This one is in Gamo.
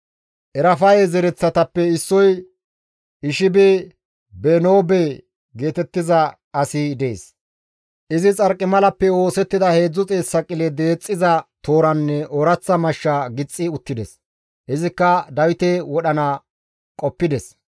Erafaye zereththatappe issoy Eshbi-Benoobe geetettiza asi dees; izi Xarqimalappe oosettida 300 saqile deexxiza tooranne ooraththa mashsha gixxi uttides; izikka Dawite wodhana qoppides.